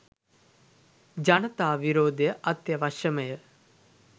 ජනතා විරෝධය අත්‍යාවශ්‍යමය